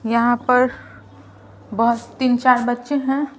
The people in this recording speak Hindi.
यहाँ पर बहोत तीन-चार बच्चे हैं।